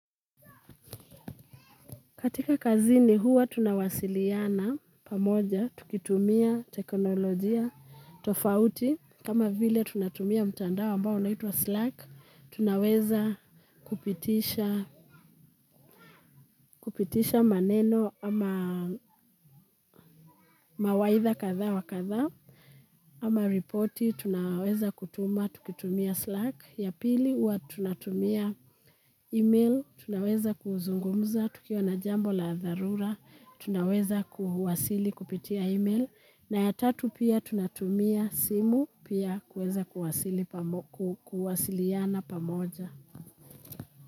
Katika kazini huwa tunawasiliana pamoja tukitumia teknolojia tofauti. Kama vile tunatumia mtandao ambao unaitwa slack, tunaweza kupitisha, kupitisha maneno ama mawaidha kadhaa wa kadhaa, ama ripoti, tunaweza kutuma, tukitumia Slack. Ya pili, huwa tunatumia email, tunaweza kuzungumza, tukiwa na jambo la dharura, tunaweza kuhuasili kupitia email, na ya tatu pia tunatumia simu, pia kuweza kuwasiliana pamoja.